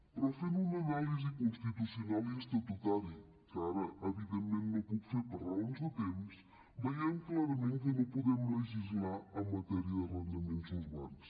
però fent una anàlisi constitucional i estatutària que ara evidentment no puc fer per raons de temps veiem clarament que no podem legislar en matèria d’arrendaments urbans